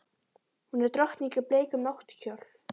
Hún er drottning í bleikum náttkjól.